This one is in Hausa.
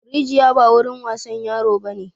Rijiya ba wurin wasan yaro bane!